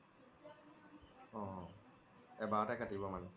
অ এবাৰতে কাটিব মানে